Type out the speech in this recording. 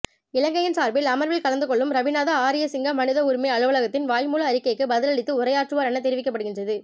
இலங்கையின் சார்பில் அமர்வில் கலந்துகொள்ளும் ரவிநாத ஆரியசிங்க மனித உரிமை அலுவலகத்தின் வாய்மூல அறிக்கைக்கு பதிலளித்து உரையாற்றுவார் என தெரிவிக்கப்படுகின்றது